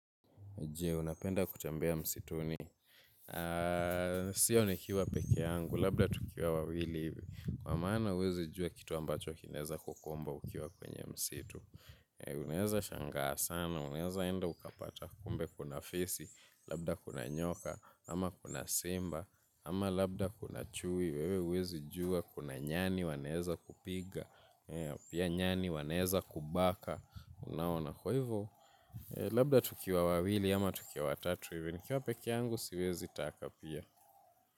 Unapenda kutembea msituni. Sio nikiwa peke yangu. Labda tukiwa wawili. Kwa maana uwezi jua kitu ambacho kinaeza kukumba ukiwa kwenye msitu. Unaeza shangaa sana. Unaeza enda ukapata kumbe kuna fisi. Labda kuna nyoka. Ama kuna simba. Ama labda kuna chui. Wewe uwezi jua kuna nyani. Wanaeza kupiga. Pia nyani wanaeza kubaka. Unaona kwa hivo. Labda tukiwa wawili ama tukiwa watatu ivi. Nikiwa pekeangu siwezi taka pia.